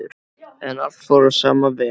En allt fór á sama veg.